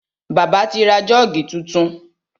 Bàbá ti ra Jọ́ọ̀gì tuntun.